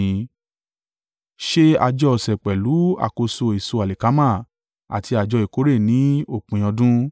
“Ṣe àjọ ọ̀sẹ̀ pẹ̀lú àkọ́so èso alikama àti àjọ ìkórè ní òpin ọdún.